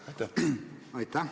Aitäh!